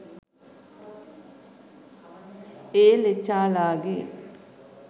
ඒ ලෙචාලාගේ